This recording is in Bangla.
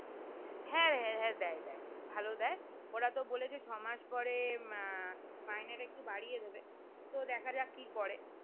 হ্যাঁ হ্যাঁ দেয় দেয় ভালো দেয় ওরা তো বলেছে ছ মাস পরে আহ মাহিনাটি একটু বাড়িয়ে দেবে তো দেখা যাক কি করে